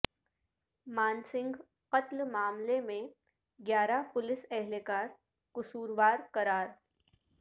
مان سنگھ قتل معاملے میں گیارہ پولیس اہلکار قصوروار قرار